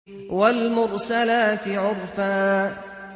وَالْمُرْسَلَاتِ عُرْفًا